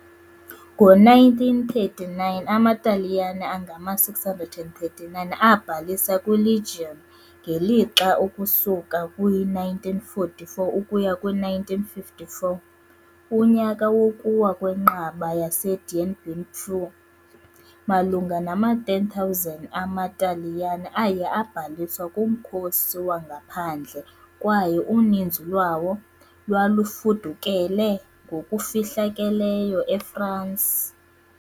Ngo -1939, amaTaliyane angama-639 abhalisa kwiLegion, ngelixa ukusuka kwi-1944 ukuya kwi-1954, unyaka wokuwa kwenqaba yaseDien Bien Phu, malunga nama-10,000 amaTaliyane aye abhaliswa kuMkhosi waNgaphandle kwaye uninzi lwawo lwalufudukele ngokufihlakeleyo eFransi .